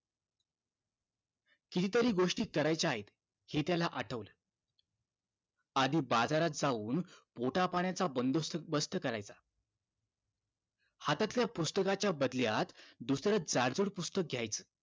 किती तरी गोष्टी करायच्या आहेत हे त्याला आठवलं आधी बाजारात जाऊन पोटापाण्याचा बंदोबस्त करायचा हातातल्या पुस्तकाच्या बदल्यात दुसरं जाडजूड पुस्तक घ्यायचं